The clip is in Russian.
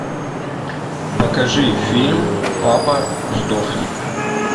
покажи фильм папа сдохни